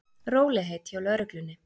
Rólegheit hjá lögreglunni